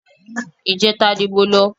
Ìjẹta ni mo lọ